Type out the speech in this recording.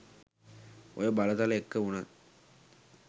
ඔය බලතල එක්ක වුණත්